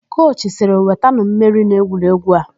Kochi sịrị, "wetanụ mmeri n'egwuregwu a"!